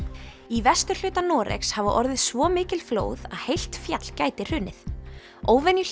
í vesturhluta Noregs hafa orðið svo mikil flóð að heilt fjall gæti hrunið